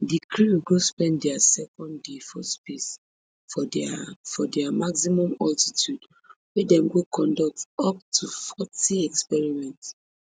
di crew go spend dia second day for space for dia for dia maximum altitude wia dem go conduct up to forty experiments